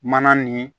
Mana nin